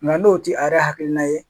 n'o tɛ a yɛrɛ hakilina ye